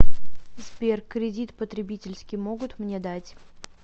сбер кридит потребительский могут мне дать